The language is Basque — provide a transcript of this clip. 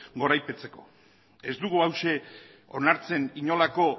goraipatzeko ez dugu hauxe onartzen inolako